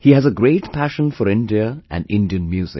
He has a great passion for India and Indian music